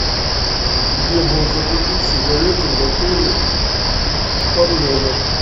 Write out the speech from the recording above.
где можно купить сигареты в отеле орленок